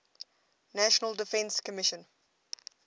national defense commission